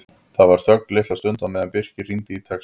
Það var þögn litla stund á meðan Birkir rýndi í textann.